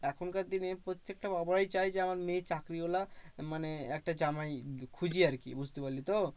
এখনকার দিনে প্রত্যেকটা বাবাই চায় যে আমার মেয়ে চাকরিওয়ালা মানে একটা জামাই খুঁজি আরকি, বুঝতে পারলি তো?